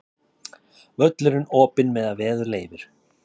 Völlurinn opinn meðan veður leyfir